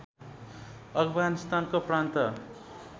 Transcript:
अफगानिस्तानको प्रान्त